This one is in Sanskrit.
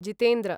जितेन्द्र